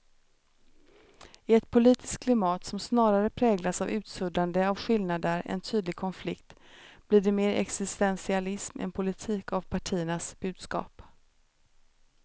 I ett politiskt klimat som snarare präglas av utsuddande av skillnader än tydlig konflikt blir det mer existentialism än politik av partiernas budskap.